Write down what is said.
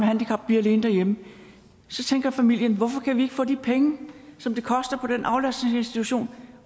handicap blive alene derhjemme og så tænker familien hvorfor kan vi ikke få de penge som det koster på den aflastningsinstitution